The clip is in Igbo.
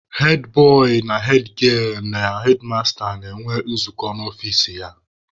Hedbọị na hedgielụ na hedmasta na-enwe nzukọ n'ọfici ya.